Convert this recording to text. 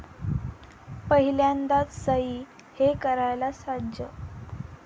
पहिल्यांदाच सई 'हे' करायला सज्ज